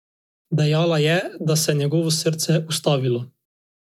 Dejala je, da se je njegovo srce ustavilo.